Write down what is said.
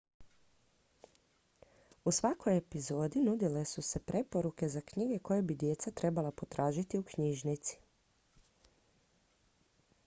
u svakoj epizodi nudile su se preporuke za knjige koje bi djeca trebala potražiti u knjižnici